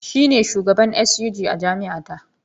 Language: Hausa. Shi ne shugaban SUG a jami’a ta.